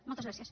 moltes gràcies